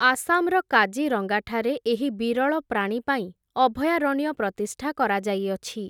ଆସାମ୍‌ର କାଜିରଙ୍ଗାଠାରେ, ଏହି ବିରଳ ପ୍ରାଣୀ ପାଇଁ, ଅଭୟାରଣ୍ୟ ପ୍ରତିଷ୍ଠା କରାଯାଇଅଛି ।